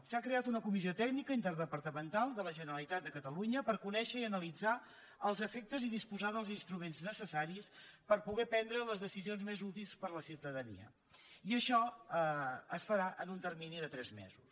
s’ha creat una comissió tècnica interdepartamental de la generalitat de catalunya per conèixer i analitzar els efectes i disposar dels instruments necessaris per poder prendre les decisions més útils per a la ciutadania i això es farà en un termini de tres mesos